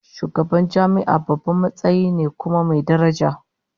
Shugaban jami'a babban matsayi ne kuma mai daraja